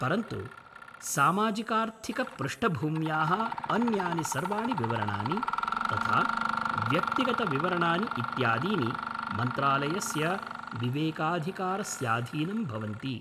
परन्तु सामाजिकार्थिकपृष्ठभूम्याः अन्यानि सर्वाणि विवरणानि, तथा व्यक्तिगतविवरणानि इत्यादीनि मन्त्रालयस्य विवेकाधिकारस्याधीनं भवन्ति।